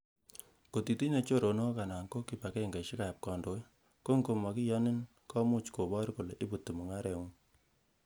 Ng'ot itinye choronok anan ko kibag'eng'esiekab kondoik, ko ng'o mokiyonyin komuch kobor kole ibuti mung'aret.